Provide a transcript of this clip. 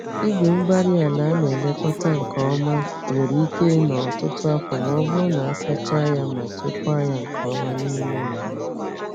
Igwe-mgbárí-ala ana-elekọta nke nke ọma nwere ike ịnọ ọtụtụ afọ ma ọ bụrụ na a sachaa ya ma chekwaa ya nke ọma n'ime ụlọ.